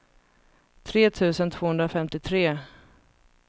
tre tusen tvåhundrafemtiotre